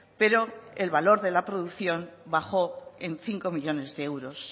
pero el valor de la producción bajo en cinco millónes de euros